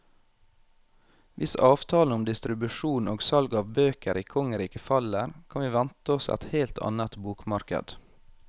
Hvis avtalen om distribusjon og salg av bøker i kongeriket faller, kan vi vente oss et helt annet bokmarked.